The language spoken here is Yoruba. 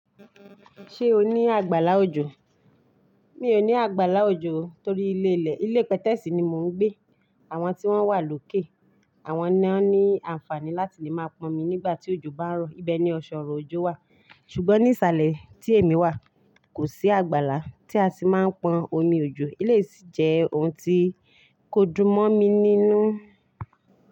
Ṣé o ní àgbàlá òjò? Mi ò ní àgbàlá òjò torí ilé ilẹ̀. Ilé pẹtẹ́ẹ̀sì ni mò ń gbé. Àwọn tí wọ́n wà lókè, àwọn ni ó ní àǹfààní láti lè máa pọn omi nígbà tí òjò bá ń rọ̀. Ibẹ̀ ni ọ̀ṣọ̀rọ̀ òjò wà. Ṣùgbọ́n ní ìsàlẹ̀ tí èmi wà, kò sí àgbàlá tí a sì máa ń pọn omi òjò. Ilé yìí sì jẹ́ ohun tí kò dún mọ́ mi nínú.